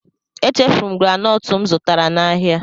Echefuru m granọọtụ m zụtara n'ahịa.